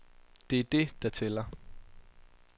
Det er det der tæller.